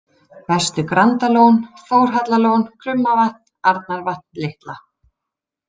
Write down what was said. Vestur-Grandalón, Þórhallalón, Krummavatn, Arnarvatn litla